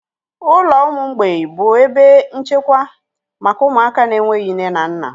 Ụlọ ụmụ mgbei bụ ebe nchekwa maka ụmụaka na-enweghị nne na nna.